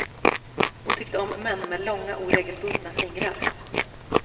Hon tyckte om män med långa oregelbundna fingrar.